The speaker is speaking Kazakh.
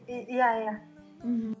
иә иә